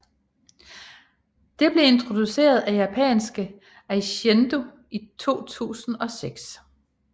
Det blev introduceret af japanske Eishindo i 2006